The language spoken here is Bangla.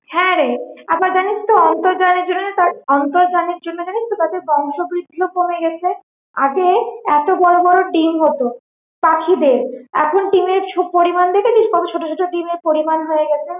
হ্যাঁ রে, আবার জানিস তো আন্তর্জালের জন্য না তা আন্তর্জালের জন্য জানিস তো তাদের বংশ বৃদ্ধিও কমে গেছে, আগে এতো বড়ো বড়ো ডিম হতো পাখিদের, এখন ডিমের ছ~ পরিমান দেখেছিস কত ছোট ছোট ডিমের পরিমান হয়ে গেছে